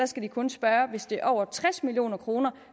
skal kun spørge hvis det er for over tres million kroner